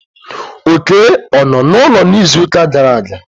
Oké o nnọ n'ụlọ n'izuụka gara aga?